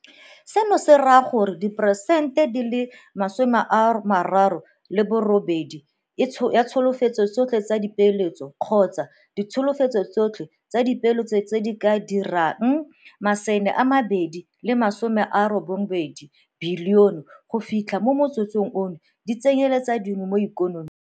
Seno se raya gore diperesente 38 ya ditsholofetso tsotlhe tsa dipeeletso kgotsa ditsholofetso tsotlhe tsa dipeeletso tse di ka dirang R290 bilione go fitlha mo motsotsong ono di tsenyele ditswe mo ikonoming.